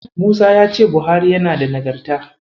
Musa ya ce Buhari yana da Nagarta.